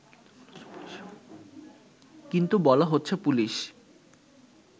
কিন্তু বলা হচ্ছে পুলিশ